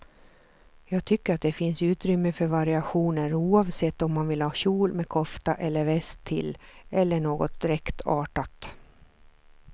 Jag tycker att det finns utrymme för variationer oavsett om man vill ha kjol med kofta eller väst till, eller något dräktartat.